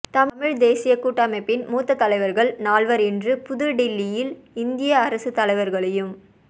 தமிழ்த் தேசியக் கூட்டமைப்பின் மூத்த தலைவர்கள் நால்வர் இன்று புதுடில்லியில் இந்திய அரசுத் தலைவர்களையும்